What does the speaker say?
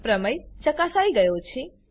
પ્રમેય ચકાસાઈ ગયો છે